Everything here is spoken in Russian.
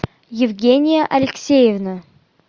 евгения алексеевна